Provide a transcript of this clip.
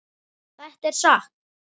Þetta er satt!